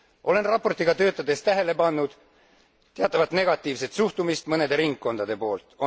Olen raportiga töötades tähele pannud teatavat negatiivset suhtumist mõnede ringkondade poolt.